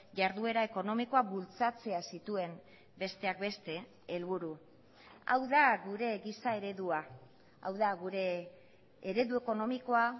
jarduera ekonomikoa bultzatzea zituen besteak beste helburu hau da gure giza eredua hau da gure eredu ekonomikoa